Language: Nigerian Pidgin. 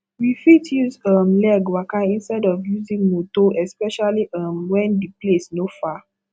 we fit use um leg waka instead of using motor especially um when di place no far